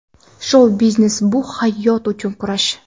Shou-biznes bu hayot uchun kurash.